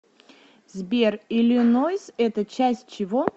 сбер иллинойс это часть чего